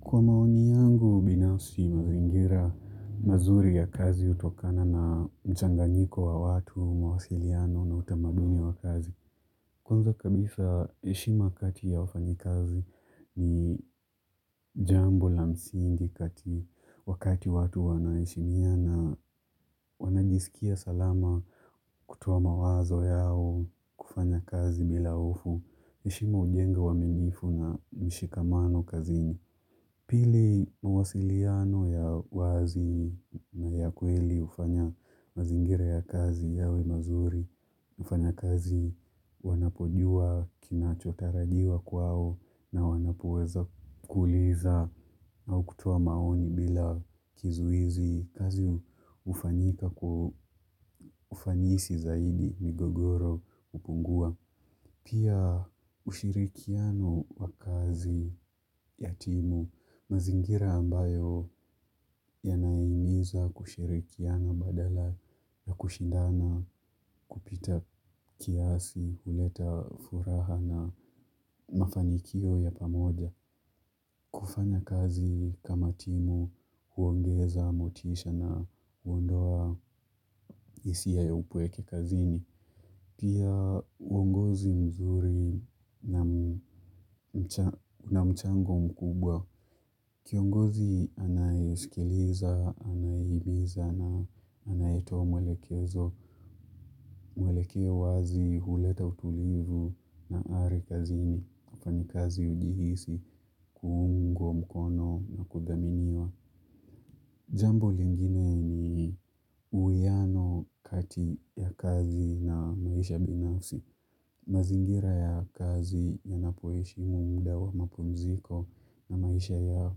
Kwa maoni yangu binafsi mazingira mazuri ya kazi hutokana na mchanganyiko wa watu, mawasiliano na utamadumi wa kazi. Kwanza kabisa heshima kati ya wafanyikazi ni jambo la msingi kati wakati watu wanaheshimina wanajisikia salama kutoa mawazo yao kufanya kazi bila hofu. Heshima hujenga uaminifu na mshikamano kazini. Pili mawasiliano ya wazi na ya kweli hufanya mazingira ya kazi yawe mazuri. Wafanyakazi wanapojua kinachotarajiwa kwao na wanapoweza kuuliza au kutoa maoni bila kizuizi. Kazi hufanyika kwa ufanisi zaidi migogoro hupungua. Pia ushirikiano wa kazi ya timu mazingira ambayo yanahimiza kushirikiana badala ya kushindana kupita kiasi, huleta furaha na mafanikio ya pamoja. Kufanya kazi kama timu, huongeza, motisha na huondoa hisia ya upweke kazini. Pia uongozi mzuri na mchango mkubwa. Kiongozi anayesikiliza, anayehimiza na anayetoa mwelekezo. Mwelekeo wazi huleta utulivu na ari kazini wafanyikazi ujihisi, kuungwa mkono na kuthaminiwa. Jambo lingine ni uwiano kati ya kazi na maisha binafsi. Mazingira ya kazi yanapoheshimu muda wa mapunziko na maisha ya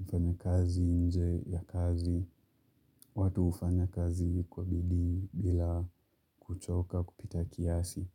ufanya kazi nje ya kazi. Watu hufanya kazi kwa bidii bila kuchoka kupita kiasi.